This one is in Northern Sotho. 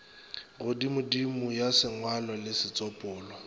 godimodimo ya sengwalo le setsopolwa